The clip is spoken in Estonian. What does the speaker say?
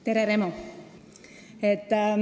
Tere, Remo!